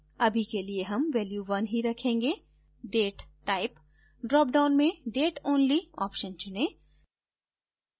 अभी के लिए हम value 1 ही रखेंगे date type ड्रॉपडाउन में date only option चुनें